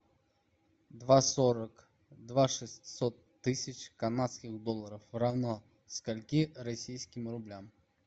два сорок два шестьсот тысяч канадских долларов равно скольки российским рублям